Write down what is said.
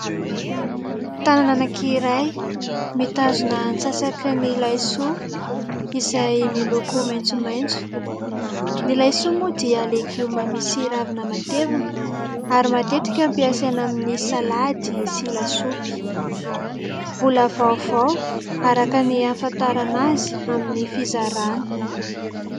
Tanàna anankiray mitazona ny antsasaky ny laisoa izay miloko maintsomaintso. Ny laisoa moa dia legioma misy ravina matevina ary matetika ampiasaina amin'ny salady sy lasopy. Mbola vaovao araka ny hafantarana azy amin'ny fizarana.